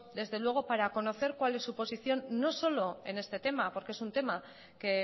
desde luego para conocer cuál es su situación no solo en este tema porque es un tema que